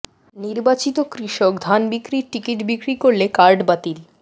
নির্বাচিত কৃষক ধান বিক্রির টিকিট বিক্রি করলে কার্ড বাতিল